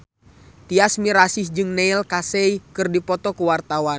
Tyas Mirasih jeung Neil Casey keur dipoto ku wartawan